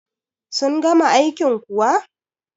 sun gama aikin kuwa?